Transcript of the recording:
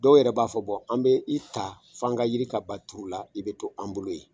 Dɔw yɛrɛ b'a fɔ bɔn an bɛ i ta f'an ka yiri ka ban turu la i bɛ to an bolo ye